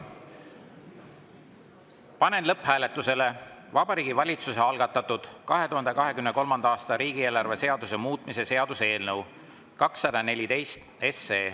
Panen lõpphääletusele Vabariigi Valitsuse algatatud 2023. aasta riigieelarve seaduse muutmise seaduse eelnõu 214.